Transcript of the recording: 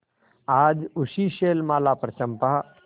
आज उसी शैलमाला पर चंपा